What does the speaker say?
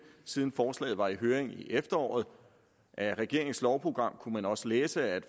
siden forslaget var i høring i efteråret af regeringens lovprogram kunne man også læse at